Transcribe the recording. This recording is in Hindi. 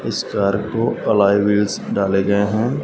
इस कार को एलॉय व्हील्स डाले गए हैं।